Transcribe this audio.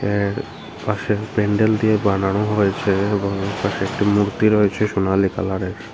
এর পাশের প্যান্ডেল দিয়ে বানানো হয়েছে এবং এর পাশে একটি মূর্তি রয়েছে সোনালী কালারের।